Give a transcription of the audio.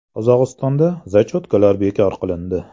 Qozog‘istonda “zachyotka”lar bekor qilindi.